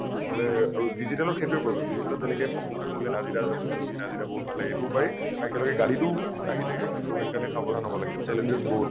নহলে আৰু digital ত সেইটোয়েই problem, digital ত যেনেকৈ প্ৰশংসা কৰিলে নাজিদা জুই নাজিদা বহুত ভাল লাগে এইটোও পায় আৰু একেলগে গলিটোও আহি থাকে । টো সেইকাৰণে সাৱধান হব লাগে । challenges বহুত